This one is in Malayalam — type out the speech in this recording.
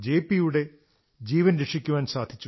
പിയുടെ ജീവൻ രക്ഷിക്കാൻ സാധിച്ചു